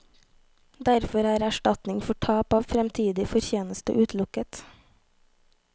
Derfor er erstatning for tap av fremtidig fortjeneste utelukket.